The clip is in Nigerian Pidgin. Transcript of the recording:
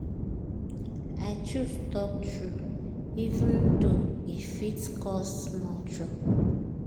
i choose talk true even though e fit cause small trouble.